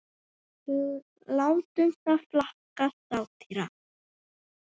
látum það flakka: satýra.